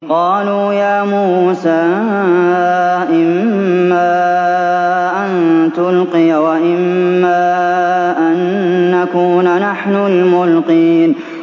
قَالُوا يَا مُوسَىٰ إِمَّا أَن تُلْقِيَ وَإِمَّا أَن نَّكُونَ نَحْنُ الْمُلْقِينَ